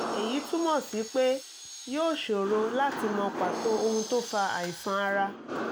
eyí túmọ̀ sí pé yóò ṣòro láti mọ pàtó ohun tó fa àìsàn ara